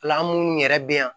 La an munnu yɛrɛ bɛ yan